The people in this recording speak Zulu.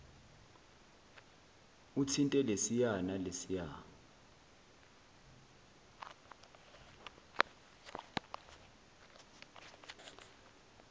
uthinte lesiya nalesiya